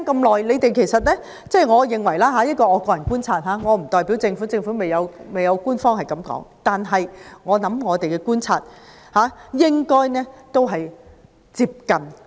我現在要說的是我的個人觀察；我不能代表政府，而政府亦未有官方回應，但我相信我的觀察與事實接近。